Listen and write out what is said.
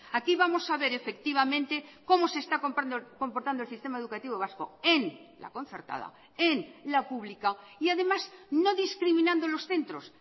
aquí vamos a ver efectivamente cómo se está comportando el sistema educativo vasco en la concertada en la pública y además no discriminando los centros